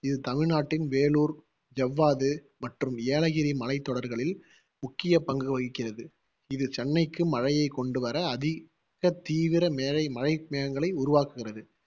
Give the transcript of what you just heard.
இது தமிழ்நாட்டின் வேலூர், ஜவ்வாது மற்றும் ஏலகிரி மலைத்தொடர்களில் முக்கிய பங்கு வகிக்கிறது. இது சென்னைக்கு மழையை கொண்டு வர அதிக தீவிர மேலை~ மழை மேகங்களை உருவாக்குகிறது.